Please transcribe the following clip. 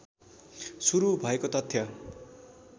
सुरु भएको तथ्य